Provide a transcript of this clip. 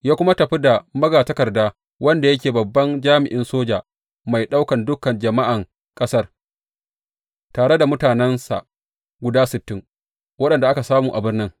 Ya kuma tafi da magatakarda wanda yake babban jami’in soja mai ɗaukan dukan jama’an ƙasar, tare da mutanensa guda sittin waɗanda aka samu a birnin.